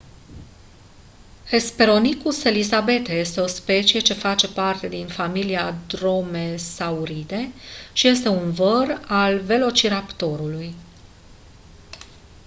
hesperonychus elizabethae este o specie ce face parte din familia dromaeosauridae și este un văr al velociraptorului